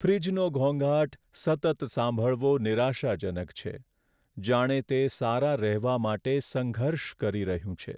ફ્રીજનો ઘોંઘાટ સતત સાંભળવો નિરાશાજનક છે, જાણે તે સારા રહેવા માટે સંઘર્ષ કરી રહ્યું છે.